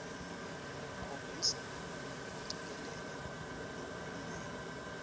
khombisa kucikelela lokulingene